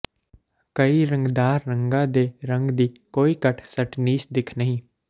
ਕਈ ਰੰਗਦਾਰ ਰੰਗਾਂ ਦੇ ਰੰਗ ਦੀ ਕੋਈ ਘੱਟ ਸਟਨੀਿਸ਼ ਦਿੱਖ ਨਹੀਂ